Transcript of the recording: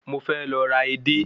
Mo fẹ́ lọ ra edé